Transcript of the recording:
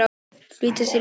Flýta sér í burtu.